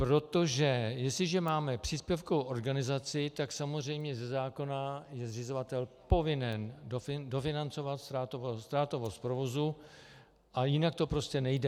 Protože jestliže máme příspěvkovou organizaci, tak samozřejmě ze zákona je zřizovatel povinen dofinancovat ztrátovost provozu a jinak to prostě nejde.